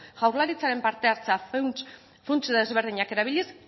jaurlaritzaren parte hartzea funts desberdinak erabiliz